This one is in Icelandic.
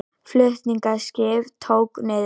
Flutningaskip tók niðri